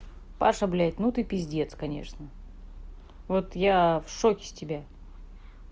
паша блять ну ты пиздец конечно вот я в шоке с тебя